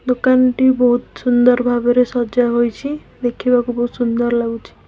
ଦୋକାନ ଟି ବହୁତ ସୁନ୍ଦର ଭାବରେ ସଜା ହୋଇଛି ଦେଖିବାକୁ ବହୁତ ସୁନ୍ଦର ଲାଗୁଚି ।